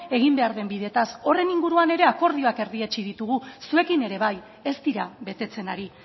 egin behar den bideaz horren inguruan ere akordioak erdietsi ditugu zuekin ere bai ez dira betetzen ari